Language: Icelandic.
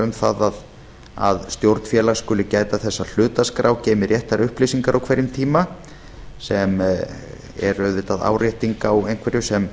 um það að stjórn félags skuli gæta þess að hlutaskrá geymi réttar upplýsingar á hverjum tíma sem er auðvitað árétting á einhverju sem